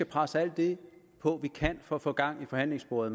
presse på for at få gang i forhandlingssporet